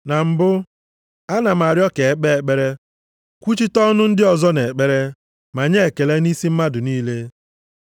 Na mbụ, ana m arịọ ka e kpee ekpere, kwuchite ọnụ ndị ọzọ nʼekpere, ma nye ekele nʼisi mmadụ niile,